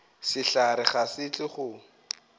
sehlare ga se tle go